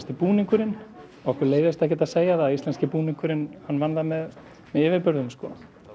búningurinn okkur leiðist ekkert að segja það að íslenski búningurinn vann það með yfirburðum sko